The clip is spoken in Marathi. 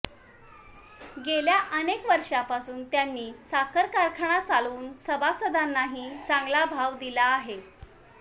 गेल्या अनेक वर्षांपासून त्यांनी साखर कारखाना चालवून सभासदांनाही चांगला भाव दिला आहे